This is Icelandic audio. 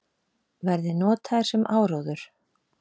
Verði notaðar sem áróður